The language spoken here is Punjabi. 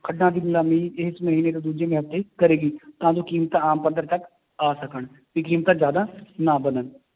ਖੱਡਾਂ ਦੀ ਨਿਲਾਮੀ ਇਸ ਮਹੀਨੇ ਤੋਂ ਦੂਜੇ ਮਹੀਨੇ ਕਰੇਗੀ ਤਾਂ ਜੋ ਕੀਮਤਾਂ ਆਮ ਪੱਧਰ ਤੱਕ ਆ ਸਕਣ ਵੀ ਕੀਮਤਾਂ ਜ਼ਿਆਦਾ ਨਾ ਵੱਧਣ